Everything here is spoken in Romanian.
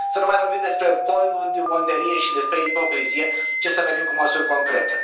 Să nu mai vorbim despre pudibonderie și despre ipocrizie, ci să venim cu măsuri concrete.